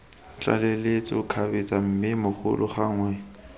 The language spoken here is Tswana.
tlaleletso kgabetsa mme bogolo gangwe